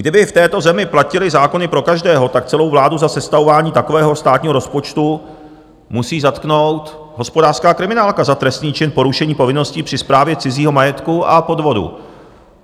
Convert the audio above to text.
Kdyby v této zemi platily zákony pro každého, tak celou vládu za sestavování takového státního rozpočtu musí zatknout hospodářská kriminálka za trestný čin porušení povinností při správě cizího majetku a podvodu.